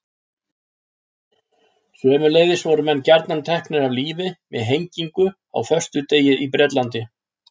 Sömuleiðis voru menn gjarnan teknir af lífi með hengingu á föstudegi í Bretlandi.